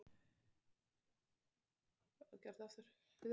Og árin liðu enn.